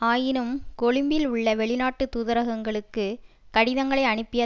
ஆயினும் கொழும்பில் உள்ள வெளிநாட்டு தூதரகங்களுக்கு கடிதங்களை அனுப்பிய